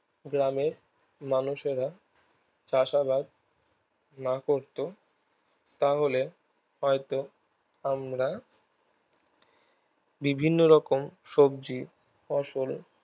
গ্রামের মানুষেরা চাষ আবাদ না করতো তাহলে হয় তো আমরা বিভিন্ন রকম সবজি ফসলে